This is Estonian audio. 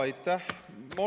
Aitäh!